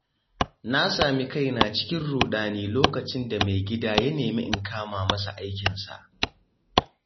Na sami kaina cikin ruɗani lokacin da maigida ya nemi in kama masa aikinsa.